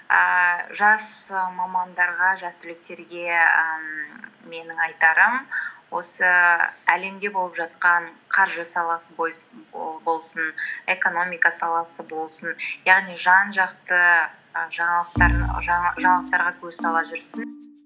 ііі жас мамандарға жас түлектерге ііі менің айтарым осы әлемде болып жатқан қаржы саласы і болсын экономика саласы болсын яғни жан жақты і жаңалықтарға көз сала жүрсін